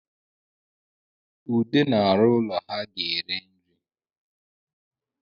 Ude na-arụ ụlọ ha ga-ere nri